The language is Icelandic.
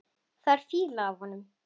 Það er fýla af honum.